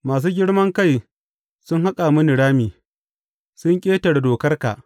Masu girman kai sun haƙa mini rami, sun ƙetare dokarka.